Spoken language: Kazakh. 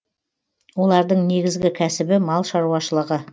олардың негізгі кәсібі мал шаруашылығы